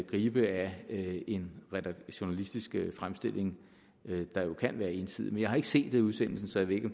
gribe af en journalistisk fremstilling der kan være ensidig men jeg har ikke set udsendelsen så jeg ved ikke